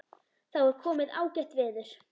Þá var komið ágætt veður.